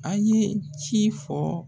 An ye ci fɔɔ